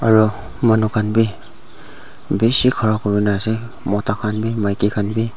Aro manu khan bhi beshi khara kurena ase mota khan bhi maiki khan bhi.